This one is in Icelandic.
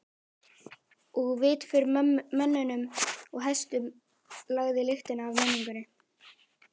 Og fyrir vit mönnum og hestum lagði lyktina af menningunni.